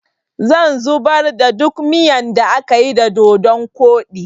zan zubar da duk miyan da akayi da dodun koɗi